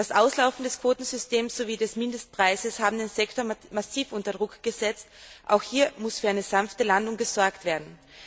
Das Auslaufen des Quotensystems sowie des Mindestpreises haben den Sektor massiv unter Druck gesetzt. Auch hier muss für eine sanfte Landung gesorgt werden.